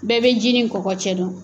Bɛɛ bɛ ji ni kɔkɔ cɛ don!